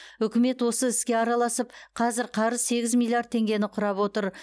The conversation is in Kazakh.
үкімет осы іске араласып қазір қарыз миллиард теңгені құрап отыр